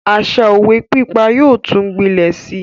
Àṣa òwe pípa yóò tún gbilẹ Si